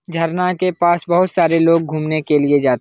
झरना के पास बहुत सारे लोग घुमने के लिए जात --